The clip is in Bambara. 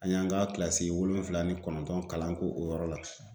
An y'an ka kilasi wolonfila ni kɔnɔntɔn kalan ko o yɔrɔ la.